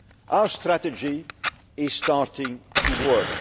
jobs. Our strategy is starting to